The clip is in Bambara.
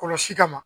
Kɔlɔsi ka ma